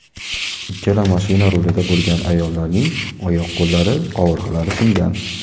Ikkala mashina rulida bo‘lgan ayollarning oyoq-qo‘llari, qovurg‘alari singan.